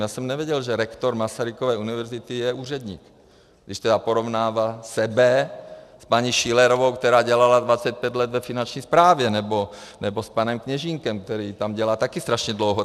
Já jsem nevěděl, že rektor Masarykovy univerzity je úředník, když tedy porovnává sebe s paní Schillerovou, která dělala 25 let ve finanční správě, nebo s panem Kněžínkem, který tam dělá také strašně dlouho.